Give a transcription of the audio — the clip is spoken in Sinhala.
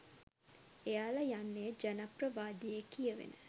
එයලා යන්නේ ජනප්‍රවාදයේ කියවෙන